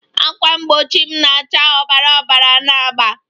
Ákwà mgbochi m na-acha obara obara na agba